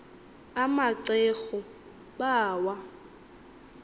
ama ceru bawa